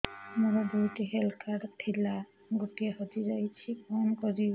ମୋର ଦୁଇଟି health card ଥିଲା ଗୋଟିଏ ହଜି ଯାଇଛି କଣ କରିବି